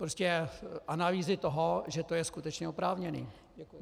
Prostě analýzy toho, že to je skutečně oprávněné.